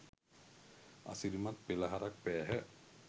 අසිරිමත් පෙළහරක් පෑහ.